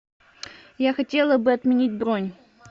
я хотела бы отменить бронь